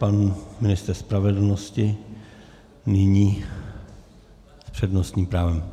Pan ministr spravedlnosti nyní s přednostním právem.